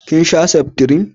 kin sha seftrin?